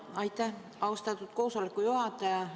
Aitäh, austatud koosoleku juhataja!